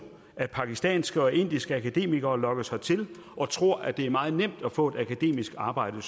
at pakistanske og indiske akademikere lokkes hertil og tror at det er meget nemt at få et akademisk arbejde